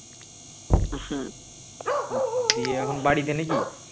দিয়ে এখন বাড়িতে নাকি